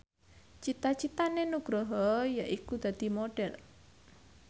cita citane Nugroho yaiku dadi Modhel